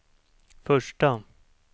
första